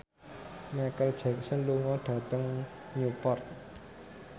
Micheal Jackson lunga dhateng Newport